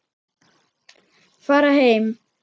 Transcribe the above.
Fara heim!